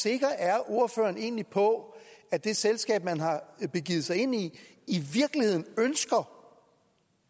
sikker ordføreren egentlig er på at det selskab man har begivet sig ind i i virkeligheden ønsker